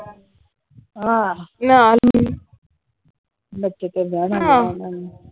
ਆਹ .